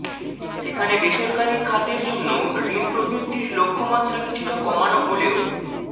সেখানে বেসরকারি খাতের জন্য ঋণ প্রবৃদ্ধির লক্ষ্যমাত্রা কিছুটা কমানো হলেও